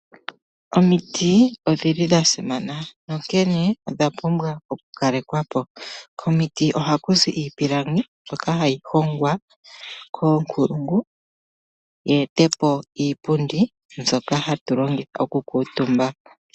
Omiti odhili dhasimana onkene odha pumbwa okukalekwapo, komiti ohakuzi iipilangi mbyoka hayi hongwa koonkulungu yeete po iipundi mbyoka hatu longitha okukuutumba.